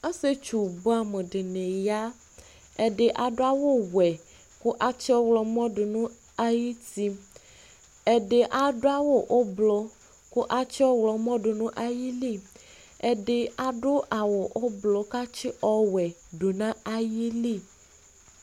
Ɔsietsu buɛ amʋ dini ya; ɛdi adʋ awʋ wɛ kʋ atsi ɔɣlɔmɔ dʋ nʋ ay'uti Ɛdi aʋʋ awʋ ʋblʋ kʋ atsi ɔɣlɔmɔ dʋ nʋ ayili, ɛdi adʋ awʋ ʋblʋ k'atsi ɔwɛ dʋ nʋ ayili